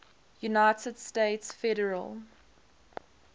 united states federal